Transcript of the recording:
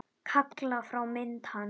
Kalla fram mynd hans.